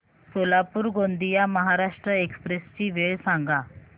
Solapur Gondia Maharashtra express ची वेळ सांगा